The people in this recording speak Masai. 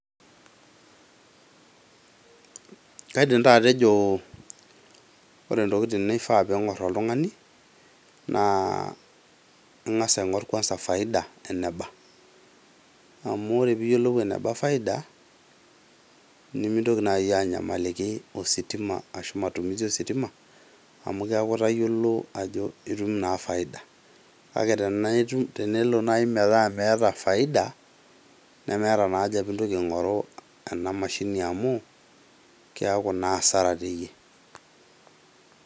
Kaidim taa atejo ore intokitin ningor oltungani naa ingas aingor kwanza faida eneba. Amu ore piyiolou eneba faida nemintoki naji anyamaliki ositima ashu matumisi ositima amu keaku itayiolo ajo itum naa faida. Kake tenaa itum , tenelo nai metaa miata faida nemeeta nai haja pintoki aingoru ena mashini amu kiaku naa asara teyie.